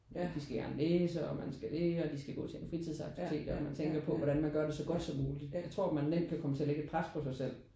At de skal gerne læse og man skal det og de skal gå til en fritidsaktivitet og man tænker på hvordan man gør det så godt som muligt. Jeg tror man nemt kan komme til at lægge et pres på sig selv